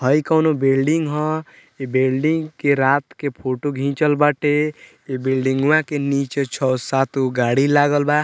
हइ कोनो बिल्डिंग हअ इ बिल्डिंग के रात के फोटो घिचल बाटे इ बिल्डिंगवा के नीचे छ सात गो गाड़ी लागल बा।